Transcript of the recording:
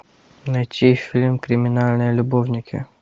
найти фильм криминальные любовники